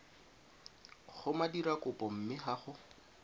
go modirakopo mme ga go